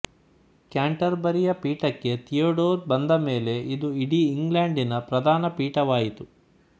ಕ್ಯಾಂಟರ್ಬರಿಯ ಪೀಠಕ್ಕೆ ಥಿಯೋಡೋರ್ ಬಂದಮೇಲೆ ಇದು ಇಡೀ ಇಂಗ್ಲೆಂಡಿನ ಪ್ರಧಾನಪೀಠವಾಯಿತು